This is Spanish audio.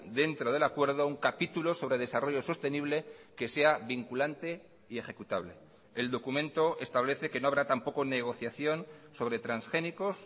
dentro del acuerdo un capítulo sobre desarrollo sostenible que sea vinculante y ejecutable el documento establece que no habrá tampoco negociación sobre transgénicos